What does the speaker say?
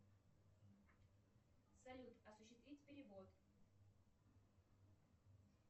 салют осуществить перевод